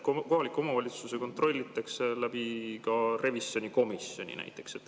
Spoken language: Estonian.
Kohalikke omavalitsusi kontrollitakse ka revisjonikomisjoni kaudu näiteks.